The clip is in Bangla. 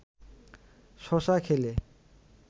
শশা খেলে